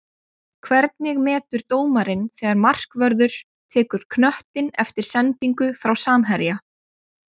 Hvernig metur dómarinn þegar markvörður tekur knöttinn eftir sendingu frá samherja?